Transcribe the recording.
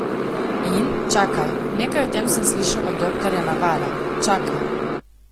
In, čakaj, nekaj o tem sem slišal od doktorja Navala, čakaj.